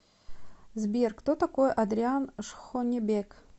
сбер кто такой адриан шхонебек